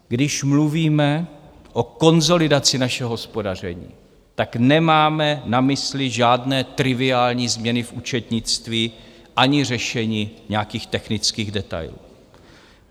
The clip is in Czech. Když mluvíme o konsolidaci našeho hospodaření, tak nemáme na mysli žádné triviální změny v účetnictví ani řešení nějakých technických detailů.